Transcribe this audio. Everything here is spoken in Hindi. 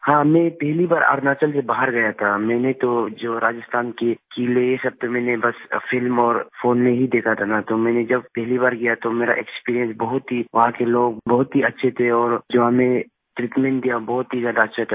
हाँ मैं पहली बार अरुणाचल से बाहर गया था मैंने तो जो राजस्थान के किले ये सब तो मैंने बस फिल्म और फ़ोन में ही देखा था न तो मैंने जब पहली बार गया तो मेरा एक्सपीरियंस बहुत ही वहां के लोग बहुत ही अच्छे थे और जो हमें treatmentदिया बहुत ही ज्यादा अच्छे थे